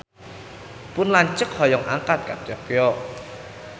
Pun lanceuk hoyong angkat ka Tokyo